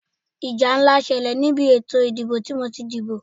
Ìjà ńlá ṣẹlẹ̀ ni ìbí ètò ìdìbò tí mo ti díbó.